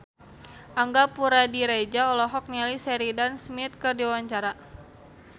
Angga Puradiredja olohok ningali Sheridan Smith keur diwawancara